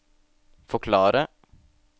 forklare